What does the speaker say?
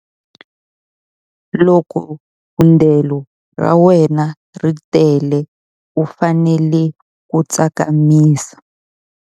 Loko thundelo ra wena ri tele u fanele ku tsakamisa.